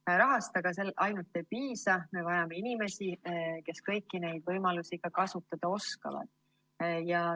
Ainult rahast aga ei piisa, me vajame inimesi, kes kõiki neid võimalusi ka kasutada oskavad.